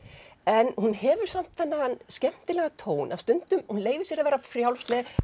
en hún hefur samt þennan skemmtilega tón hún leyfir sér að vera frjálsleg